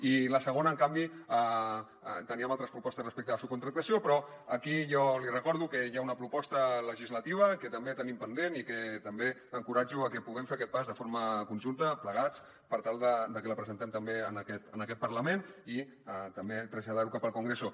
i la segona en canvi teníem altres propostes respecte a la subcontractació però aquí jo li recordo que hi ha una proposta legislativa que també tenim pendent i que també encoratjo a que puguem fer aquest pas de forma conjunta plegats per tal de que la presentem també en aquest parlament i també traslladar·ho cap al con·greso